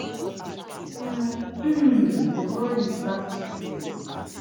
an um di ball is back to play